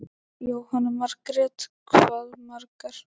Jóhanna Margrét: Hvað margar?